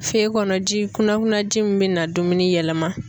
Feye kɔnɔ ji kunakunaji min bi na dumuni yɛlɛma.